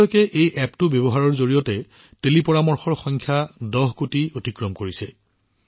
এতিয়ালৈকে এই এপ্পটো ব্যৱহাৰ কৰা টেলিপৰামৰ্শদাতাৰ সংখ্যা ১০ কোটিৰ সংখ্যা অতিক্ৰম কৰিছে